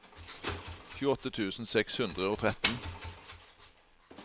tjueåtte tusen seks hundre og tretten